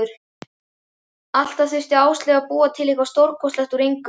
Alltaf þurfti Áslaug að búa til eitthvað stórkostlegt úr engu.